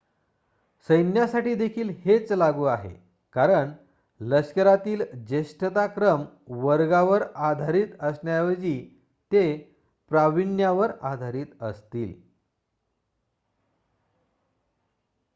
सैन्यासाठी देखील हेच लागू आहे कारण लष्करातील ज्येष्ठताक्रम वर्गावर आधारित असण्याऐवजी ते प्राविण्यावर आधारित असतील